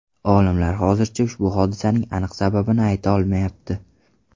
Olimlar hozircha ushbu hodisaning aniq sababini ayta olmayapti.